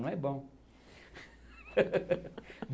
Não é bom.